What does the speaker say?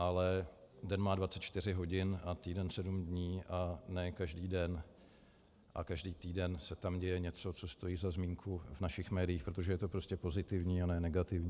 Ale den má 24 hodin a týden sedm dnů a ne každý den a každý týden se tam děje něco, co stojí za zmínku v našich médiích, protože je to prostě pozitivní a ne negativní.